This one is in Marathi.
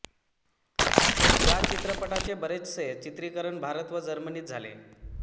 या चित्रपटाचे बरेचसे चित्रीकरण भारत व जर्मनीत झाले